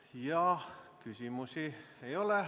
Rohkem küsimusi ei ole.